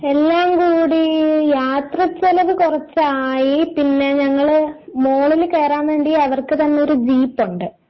എല്ലാം കൂടി യാത്ര ചിലവ് കുറച്ചായി പിന്നെ ഞങ്ങള് മുകളില് കയറാൻ വേണ്ടി അവർക്ക് തന്നെഒരു ജീപ്പ് ഉണ്ട്.